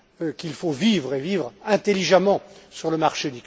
qu'il faut vivre et vivre intelligemment sur le marché.